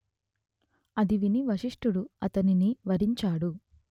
అది విని వశిష్ఠుడు అతనిని వారించాడు